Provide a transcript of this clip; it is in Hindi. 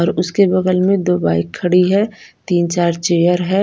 और उसके बगल में दो बाइक खड़ी है तीन चार चेयर है।